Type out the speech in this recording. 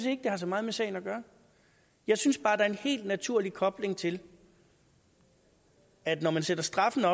ikke det har så meget med sagen at gøre jeg synes bare der er en helt naturlig kobling til at når man sætter straffen